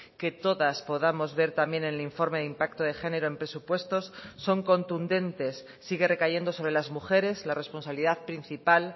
que todas podamos ver también en el informe de impacto de género en presupuestos son contundentes sigue recayendo sobre las mujeres la responsabilidad principal